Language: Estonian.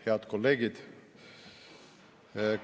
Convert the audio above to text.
Head kolleegid!